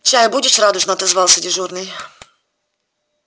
чай будешь радушно отозвался дежурный